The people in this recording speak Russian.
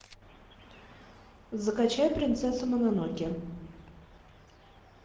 закачай принцесса мононоке